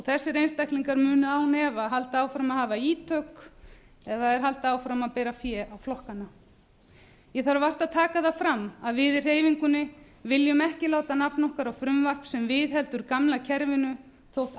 þessir einstaklingar munu án efa halda áfram að hafa ítök eða halda áfram að bera fé á flokkana ég þarf vart að taka það fram að við í hreyfingunni viljum ekki láta nafn okkar á frumvarp sem viðheldur gamla kerfinu þótt